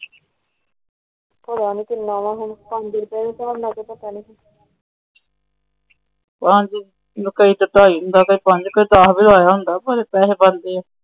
ਪਤਾ ਨਹੀਂ ਕਿੰਨਾ ਹੁਣ ਪੰਜ ਰੁਪਏ ਦੇ ਸਾਬ ਨਾਲ ਕੇ ਪਤਾ ਨਹੀਂ